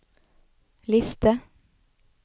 liste